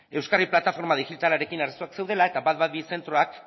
euskadi plataforma digitalarekin arazoak zeudela eta ehun eta hamabi zentroak